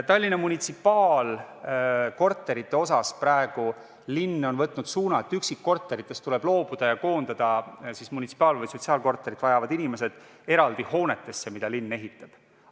Tallinna munitsipaalkorterite asjus on praegu linn võtnud suuna, et üksikkorteritest tuleb loobuda ja koondada munitsipaal- või sotsiaalkorterit vajavad inimesed eraldi hoonetesse, mida linn ehitab.